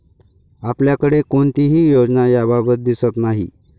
आपल्याकडे कोणतीही योजना याबाबत दिसत नाही.